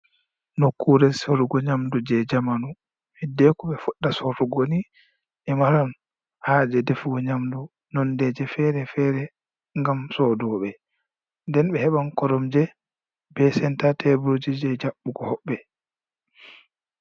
Nokkure serugo nyamɗu je jamanu. Heɗɗeku be fuɗɗa sorugo ni. Be maran haje ɗefugo nyamɗu nonɗeje fere-fere ngam soɗobe. Nɗen be heban koromje be senta teburje je jabbugo hobbe.